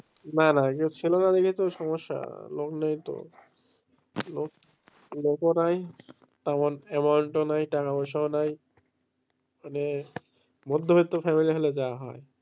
না না, কেউ ছিল না দেখেই তো সমস্যা লোক নেই তো লোক লোকও নাই তেমন টাকা পয়সাও নাই মানে মধ্যবিত্ত family হলে যা হয়,